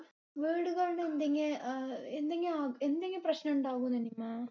വീടുകൾ അഹ് എന്തെകിലു എന്തെകിലും പ്രശ്നം ഇണ്ടാവോ നിമ്മ?